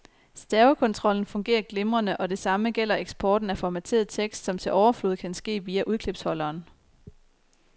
Stavekontrollen fungerer glimrende, og det samme gælder eksporten af formateret tekst, som til overflod kan ske via udklipsholderen.